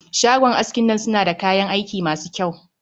Shagon askin nan suna da kayan aiki masu kyau